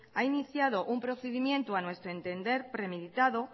ha iniciado un procedimiento a nuestro entender premeditado